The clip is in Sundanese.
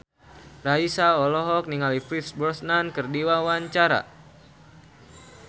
Raisa olohok ningali Pierce Brosnan keur diwawancara